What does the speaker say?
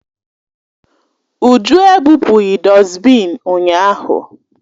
Uju ebụpụghị dọsbịn ụnyahụ